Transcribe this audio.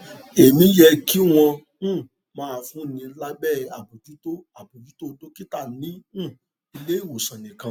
èmí yẹ kí wón um máa fúnni lábẹ àbójútó àbójútó dókítà ní um ilé ìwòsàn nìkan